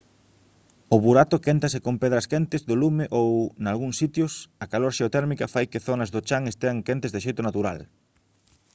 o burato quéntase con pedras quentes do lume ou nalgúns sitios a calor xeotérmica fai que zonas do chan estean quentes de xeito natural